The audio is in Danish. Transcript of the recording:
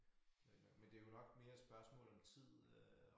Øh men det jo nok mere spørgsmål om tid øh